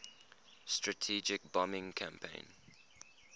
strategic bombing campaign